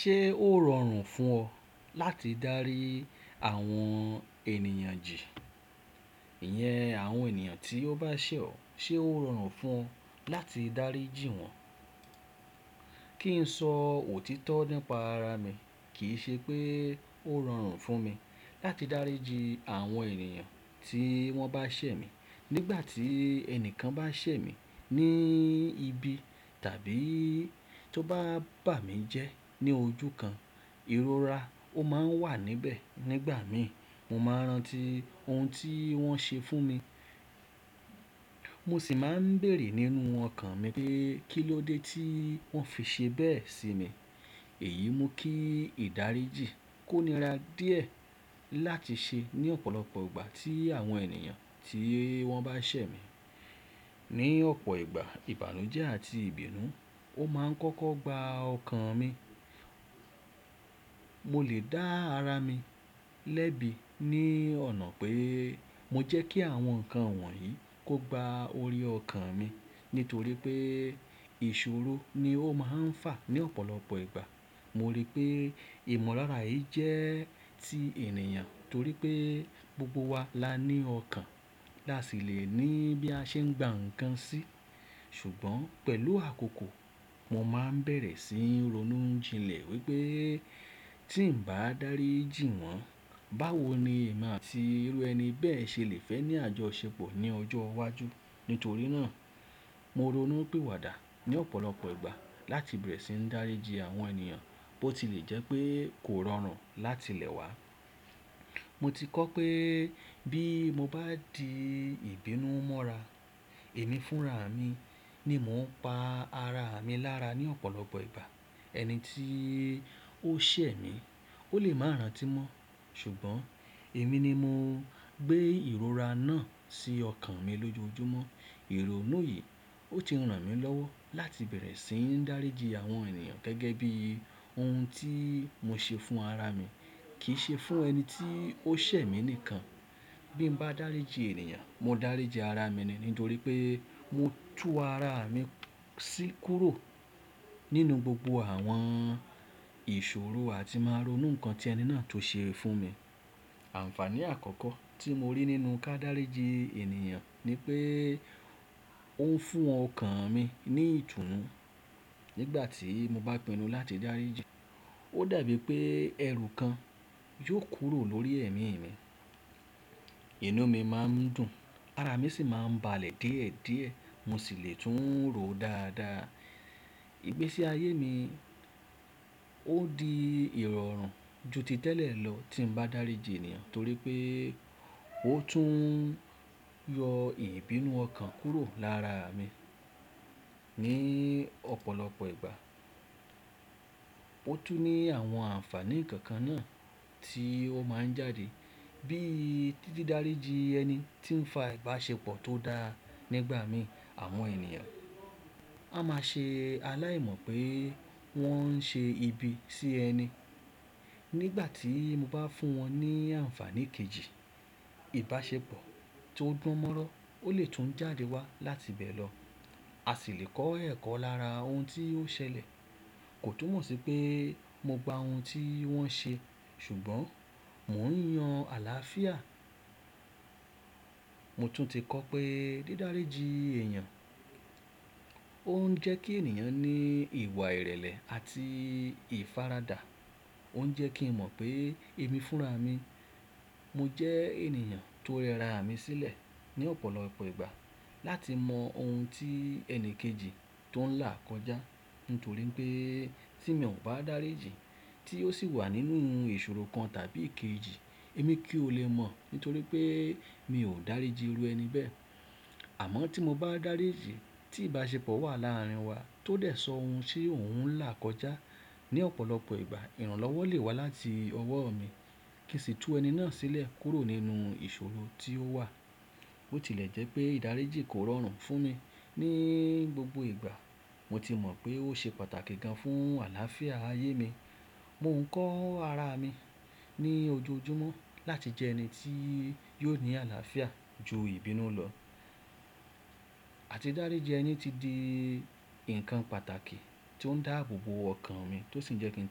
Ṣé ó rọrùn fún ọ láti dárí àwọn ènìyàn jin iyen àwọn ènìyàn tí ó bá ṣẹ̀ ọ? Ṣé ó rọrùn fún ọ láti dárí jì wọ́n? Kí n sọ òtítọ́ nípa ara mi, kì í ṣe pé ó rọrùn fún mi láti dárí jì àwọn ènìyàn tí wọ́n bá ṣẹ̀ mí. Nígbà tí ẹnìkan bá ṣẹ̀ mí ní ibi tàbí tó bá bà mí jẹ́ ní ojú kan, ìrora ó máa ń wà níbẹ̀ nígbà mi. Mo máa ń rántí ohun tí wọ́n ṣe fún mi, mo sì máa ń béèrè nínú ọkàn mi pé kí ló dé tí wọ́n fi ṣe bẹ́ẹ̀ sí mi. Èyí mú kí ìdáríjì kó nira díẹ̀ láti ṣe ní ọ̀pọ̀lọpọ̀ ìgbà tí àwọn ènìyàn tí wọ́n bá ṣẹ̀ mí. Ni ọ̀pọ̀ ìgbà, ìbànújẹ́ àti ìbínú ó máa ń kọ́kọ́ gba ọkàn mi. Mo lè dá ara mi lẹ́bi ní ọ̀nà pé mo jẹ́ kí àwọn nǹkan wọ̀nyí kó gba orí ọkàn mi nítorí pé ìṣòro ni ó máa ń fà ní ọ̀pọ̀lọpọ̀ ìgbà. Mo rí i pé ìmọ̀lára yìí jẹ́ ti ènìyàn torí pé gbogbo wa la ní ọkàn lási lè ní bí a ṣe ń gba ǹkan sí. Ṣùgbọ́n pẹ̀lú àkókò, mo máa ń bẹ̀rẹ̀ sí ń ronú jinlẹ̀ wípé tí ǹ bá dárí jì wọ́n, báwo ni emi ati irú ẹni bẹ́ẹ̀ ṣe lè fẹ́ ní àjọṣepọ̀ ní ọjọ́ iwájú? Nítorí náà, mo ronú pi wàdà ní ọ̀pọ̀lọpọ̀ ìgbà láti bẹ̀rẹ̀ sí ń dárí jì àwọn ènìyàn bó ti lè jẹ́ pé kò rọrùn láti lẹ̀ wá. Mo ti kọ́ pé bí mo bá di ìbínú mọ́ra, èmi fúnra mi ni mò ń pa ara mi lára ní ọ̀pọ̀lọpọ̀ ìgbà. Ẹni tí ó ṣẹ̀ mí, ó lè máa rántí mọ́ Ṣùgbọ́n èmi ni mo gbé ìrora náà sí ọkàn mi lójoojúmọ́. Ìrònú yìí ó ti rán mi lọ́wọ́ láti bẹ̀rẹ̀ sí ń dárí jì àwọn ènìyàn gẹ́gẹ́ bí ohun tí mo ṣe fún ara mi, kì í ṣe fún ẹni tí ó ṣẹ̀ mí nìkan. Bí mo bá dárí jì ènìyàn, mo dárí jì ara mi nì nítorí pé mo tú ara mi sí kúrò nínú gbogbo àwọn ìṣòro àti máa ronú ǹkan tí ẹni náà tó ṣe fún mi. Àǹfààní àkọ́kọ́ tí mo rí nínú ká dárí jì ènìyàn ni pé ó ń fún ọkàn mi ní ìtùnú nígbà tí mo bá pinnu láti dárí jì. Ó dàbí pé ẹrù kan yóò kúrò lórí ẹ̀mí mi. Inú mi máa ń dùn, ara mi sì máa ń balẹ̀ díẹ̀díẹ̀, mo sì lè tún rò dáadáa. Igbesi ààyè mi ó di ìrọ̀rùn ju ti tẹ́lẹ̀ lọ tí ń bá dárí jì ènìyàn torí pé ó tún yọ ìbínú ọkàn kúrò lára mi ní ọ̀pọ̀lọpọ̀ ìgbà. Ó tún ní àwọn àǹfààní kọ̀ọ̀kan náà tí ó máa ń jáde bíi títí dárí jì ẹni tí ń fa ìbáṣepọ̀ tó dáa nígbà mi. Àwọn ènìyàn á máa ṣe aláìmọ̀ pé wọ́n ń ṣe ibi sí ẹni. Nígbà tí mo bá fún wọn ní àǹfààní kejì, ìbáṣepọ̀ tó dùn mọ́rọ́ ó lè tún jáde wá láti bẹ́ẹ̀ lọ. A sì lè kọ́ ẹ̀kọ́ lára ohun tí ó ṣẹlẹ̀. Kò túmọ̀ sí pé mo gba ohun tí wọ́n ṣe ṣùgbọ́n mò ń yan àlàáfíà. Mo tún ti kọ́ pé dídárí jì ènìyàn ó ń jẹ́ kí ènìyàn ní ìwà ìrẹ̀lẹ̀ àti ìfaradà. Ó ń jẹ́ kí n mọ̀ pé èmi fúnra mi. Mo jẹ́ ènìyàn tó rẹra mi sílẹ̀ ní ọ̀pọ̀lọpọ̀ ìgbà láti mọ ohun tí ẹni kejì tó ń là kọjá nítorí pé tí mi ò bá dárí jì tí ó sì wà nínú ìṣòro kan tàbí kejì, èmi kì í ó lè mọ̀ nítorí pé mi ò dárí jì irú ẹni bẹ́ẹ̀. Àmọ́ tí mo bá dárí jì tí ìbáṣepọ̀ wà láàárín wa tó dẹ̀ sọ ohun ti òun ń là kọjá ní ọ̀pọ̀lọpọ̀ ìgbà, ìrànlọ́wọ́ lè wá láti ọwọ́ mi kí sì tú ẹni náà sílẹ̀ kúrò nínú ìṣòro tí ó wà. Ó ti lè jẹ́ pé ìdárí jì kò rọrùn fún mi ní gbogbo ìgbà, mo ti mọ̀ pé ó ṣe pàtàkì gan fún àlàáfíà ayé mi. Mò ń kọ́ ara mi ní ojoojúmọ́ láti jẹ ẹni tí yóò ní àlàáfíà ju ìbínú lọ. Àti dárí jì ẹni ti di ǹkan pàtàkì tí ó ń dáàbò bo ọkàn mi tó sì ń jẹ́ kí ń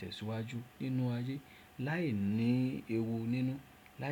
tẹ̀síwájú nínú ayé láìní ewu nínú láìsí.